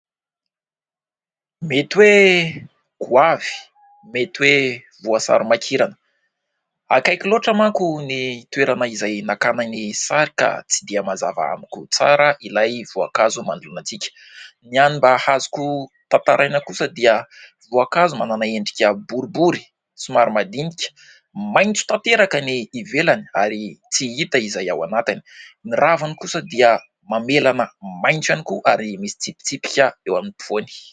Mety hoe goavy, mety hoe voasary makirana. Akaiky loatra manko ny toerana izay nakana ny sary ka tsy dia mazava amiko tsara ilay voankazo manoloana antsika. Ny hany mba azoko tantaraina kosa dia voankazo manana endrika boribory somary madinika, maitso tanteraka ny ivelany ary tsy hita izay ao anatlny. Ny raviny kosa dia mamelana maitso ihany koa ary misy tsipitsipika eo ampovoany.